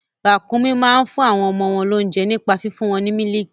Ràkúnmí máa ń fún àwọn ọmọ wọn lóunjẹ nípa fífún wọn ní mílìkì.